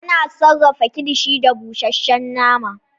Ana sarafa kilishi da bushashe nama